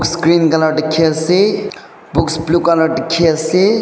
screen colour dikhi ase books blue colour dikhi ase.